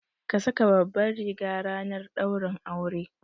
Ka saka babbar riga ranar daurin aure